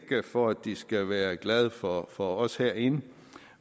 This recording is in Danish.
for at de skal være glade for for os herinde